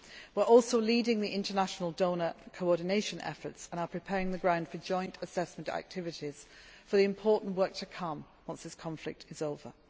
can. We are also leading the international donor coordination efforts and are preparing the ground for joint assessment activities for the important work to come once this conflict